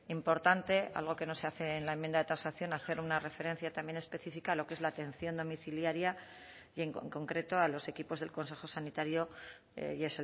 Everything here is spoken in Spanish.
importante algo que no se hace en la enmienda de transacción hacer una referencia también específica a lo que es la atención domiciliaria y en con concreto a los equipos del consejo sanitario y